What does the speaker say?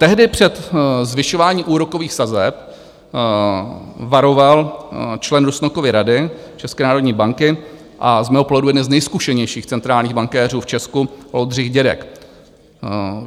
Tehdy před zvyšováním úrokových sazeb varoval člen Rusnokovy rady České národní banky a z mého pohledu jeden z nejzkušenějších centrálních bankéřů v Česku Oldřich Dědek.